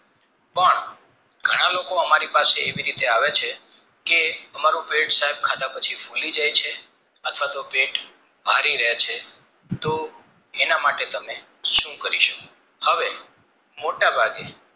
ઘણા લોકો અમારી પાસે એવી રીતે આવે છે કે અમારું પેટ સાહેબ ખાધા પછી ફૂલી જાય છે અથવા તો પેટ ભરી રે છે તો એના માટે તમે સુ કારસો હવે મોટા ભાગે